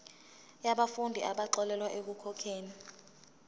yabafundi abaxolelwa ekukhokheni